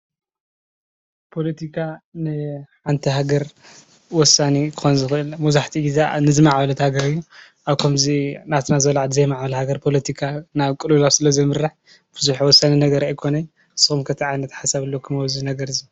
ፖለቲካ ንሓንቲ ሃገር ወሳኒ ክኾን ዝኽእል መብዛሕትኡ ግዜ ንዕቤት ሃገር እዩ፣ ኣብ ከምዚ ናትና ዝበላ ዘይባህበለ ሃገር ፖለቲካ ናብ ቅልውላው ስለ ዘምርሕ ብዙሕ ወሳኒ ነገር ኣይኮነን። ንእኩም ከ እንታይ ዓይነት ሓሳብ ኣብዚ ነገር እዚ፡፡